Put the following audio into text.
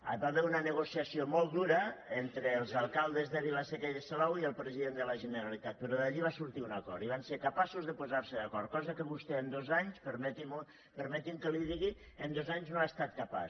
hi va haver una negociació molt dura entre els alcaldes de vila seca i de salou i el president de la generalitat però d’allí va sortir un acord i van ser capaços de posar se d’acord cosa que vostè en dos anys permeti’m que li ho digui en dos anys no n’ha estat capaç